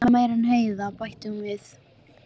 Ég hugsa meira en Heiða, bætti hún við.